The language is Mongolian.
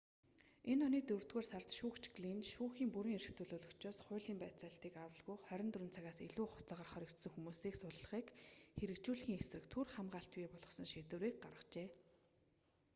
энэ оны дөрөвдүгээр сард шүүгч глинн шүүхийн бүрэн эрхт төлөөлөгчөөс хуулийн байцаалтыг авалгүй 24 цагаас илүү хугацаагаар хоригдсон хүмүүсийг суллахыг хэрэгжүүлэхийн эсрэг түр хамгаалалт бий болгосон шийдвэрийг гаргажээ